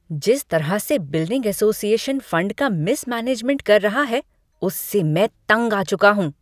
जिस तरह से बिल्डिंग असोसिएशन फंड का मिसमैनेजमेंट कर रहा है, उससे मैं तंग आ चुका हूँ।